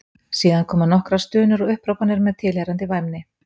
Síðan komu nokkrar stunur og upphrópanir með tilheyrandi væmni.